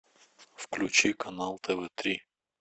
включи канал тв три